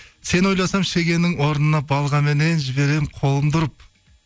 сені ойласам шегенің орнына балғаменен жіберемін қолымды ұрып